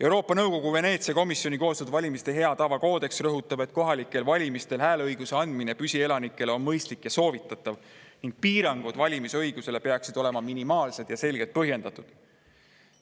Euroopa Nõukogu Veneetsia komisjoni koostatud valimiste hea tava koodeks rõhutab, et kohalikel valimistel hääleõiguse andmine püsielanikele on mõistlik ja soovitatav ning valimisõiguse piirangud peaksid olema minimaalsed ja selgelt põhjendatud.